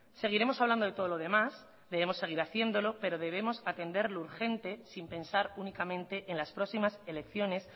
seguiremos hablando de todo lo demás debemos seguir haciéndolo pero debemos atender lo urgente sin pensar únicamente en las próximas elecciones